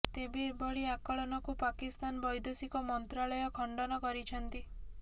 ତେବେ ଏଭଳି ଆକଳନକୁ ପାକିସ୍ତାନ ବୈଦେଶିକ ମନ୍ତ୍ରଣାଳୟ ଖଣ୍ଡନ କରିଛନ୍ତି